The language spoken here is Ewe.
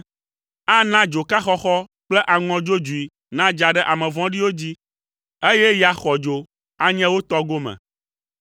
Ana dzoka xɔxɔ kple aŋɔ dzodzoe nadza ɖe ame vɔ̃ɖiwo dzi, eye ya xɔdzo anye wo tɔ gome.